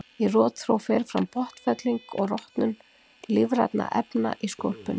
Í rotþró fer fram botnfelling og rotnun lífrænna efna í skólpinu.